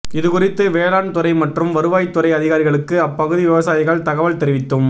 இதுகுறித்து வேளாண் துறை மற்றும் வருவாய்த் துறை அதிகாரிகளுக்கு அப்பகுதி விவசாயிகள் தகவல் தெரிவித்தும்